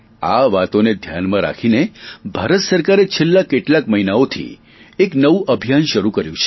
આ વાતોને ધ્યાનમાં રાખીને ભારત સરકારે છેલ્લા કેટલાક મહિનાઓથી એક નવું અભિયાન શરૂ કર્યુ છે